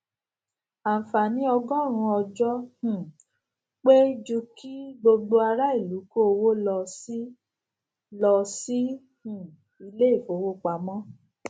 ànfààní ọgórùnún ọjó um pé ju kí gbogbo ará ìlú kó owó lọ sí lọ sí um ilé ìfowópamó